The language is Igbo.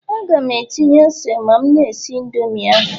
Aga m etinye ose ma m na-esi Indomi ahụ